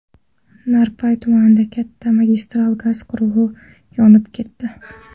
Narpay tumanida katta magistral gaz quvuri yonib ketdi.